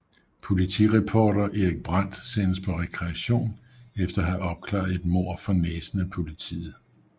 Politireporter Erik Brandt sendes på rekreation efter at have opklaret et mord for næsen af politiet